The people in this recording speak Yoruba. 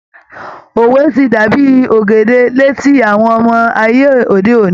Òwe ti dàbí ògèdè létí àwọn ọmọ ayé òde òní.